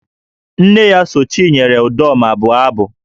Nne ya so Chinyere Udoma bụọ abụ